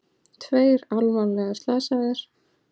Tveir alvarlega slasaðir